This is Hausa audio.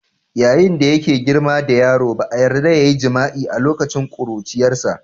yayin da yake girma da yaro ba a yarda ya yi jima'i a lokacin ƙuruciyarsa.